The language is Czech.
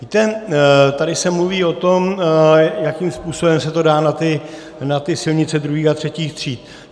Víte, tady se mluví o tom, jakým způsobem se to dá na ty silnice druhých a třetích tříd.